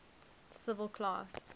civil class